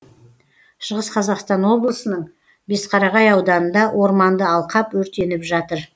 шығыс қазақстан облысының бесқарағай ауданында орманды алқап өртеніп жатыр